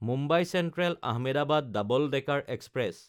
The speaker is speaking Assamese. Mumbai চেন্ট্ৰেল–আহমেদাবাদ double decker express